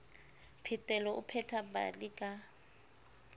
phetelo o pheta pale ka